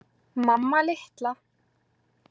Mamma litla!